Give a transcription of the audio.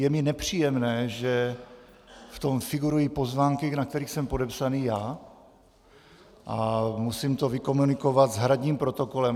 Je mi nepříjemné, že v tom figurují pozvánky, na kterých jsem podepsán já, a musím to vykomunikovat s hradním protokolem.